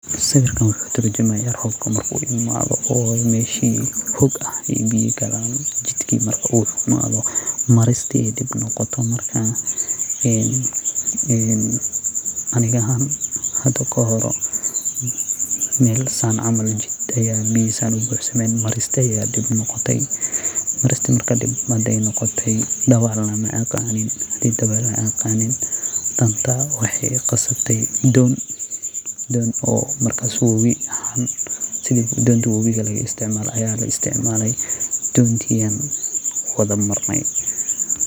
Siwiirkan wuxuu tur jumayaa robka marku imadhoo, o meshii hoog ah ee biyaa gaalan, jidkii marku u xumaado maristii ee diib noqoto markaa, een aniga ahan hadaa kahooro meel Saan camal jiid ah ayaa biyaa Saan u buux sameen maristaa aya diib noqotee, maristaa hadee diib noqotee, dawacna dabaal nah maaqanin daadtaa wexeey iqasabtee doon ee markaas wabii ah, sithii dontaa wawigaa lagu isticmalo, dontii ayan wadhaa maarnee.